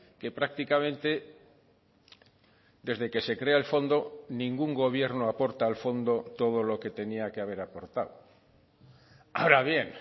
que prácticamente desde que se crea el fondo ningún gobierno aporta al fondo todo lo que tenía que haber aportado ahora bien